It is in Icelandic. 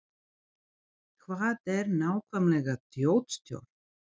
Hvað er nákvæmlega þjóðstjórn?